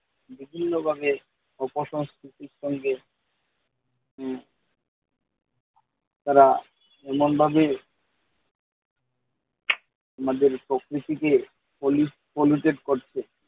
বিভিন্নভাবে অপ-সংকৃতির সঙ্গে তারা এমনভাবে আমাদের প্রকৃতিতে কলুষ কলুষিত করছে।